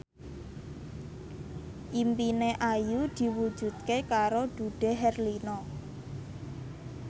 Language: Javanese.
impine Ayu diwujudke karo Dude Herlino